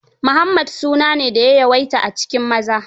Muhammad su na ne da ya yawaita a cikin maza.